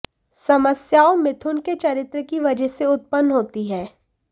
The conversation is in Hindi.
समस्याओं मिथुन के चरित्र की वजह से उत्पन्न होती हैं